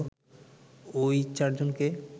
ওই চারজনকে